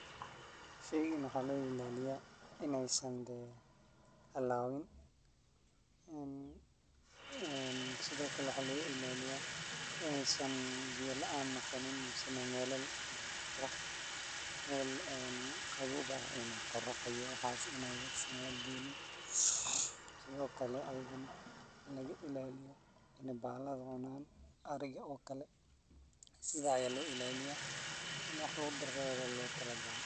Shaygaan waxaa loo ilaaliyaa in uusan hallawin. Sidoo kale waxaa laga ilaaliyaa inaysan biyo la’aan noqon. Sidoo kale waxaa laga ilaaliyaa in meel qorrax ah aan lagu geynin. Sidoo kale ayna laga ilaaliyo in ay bahalaha cunaan sida ariga oo kale. Sidaa ayaa loo ilaaliyaa, waana waax lagu darsado ayaa looga tala galay.